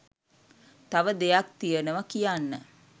තව දෙයක් තියනව කියන්න